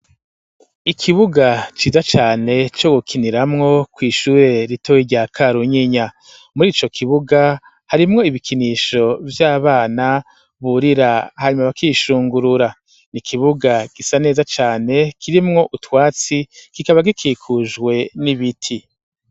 Ikibuga ciza cane co gukiniramwo kw'ishure ritoyi irya Karunyinya murico kibuga harimwo ibikinisho vy'abana burira hanyumo bakishungurura n'ikibuga gisa neza cane kirimwo utwatsi kikaba gikikujwe n'ibiti.